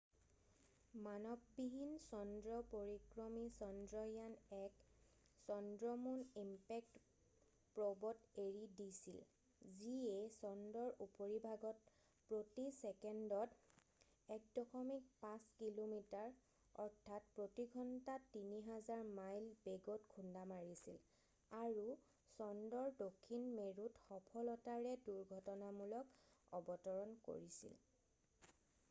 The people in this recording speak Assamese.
মানৱবিহীন চন্দ্ৰ পৰিক্ৰমী চন্দ্ৰয়ান-1 চন্দ্ৰ মুন ইমপেক্ট প্ৰ'ব mipত এৰি দিছিল যিয়ে চন্দ্ৰৰ উপৰিভাগত প্ৰতি চেকেণ্ডত 1.5 কিলোমিটাৰ প্ৰতি ঘণ্টাত 3000 মাইল বেগত খুন্দা মাৰিছিল আৰু চন্দ্ৰৰ দক্ষিণ মেৰুত সফলতাৰে দুৰ্ঘটনামূলক অৱতৰণ কৰিছিল।